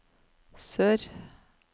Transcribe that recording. sør